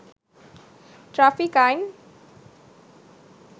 traffic আইন